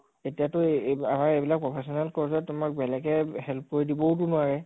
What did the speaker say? এতিয়া তো এই আমাৰ এইবিলাক professional course ত তোমাক বেলেগে help কৰি দিবও তো নোৱাৰে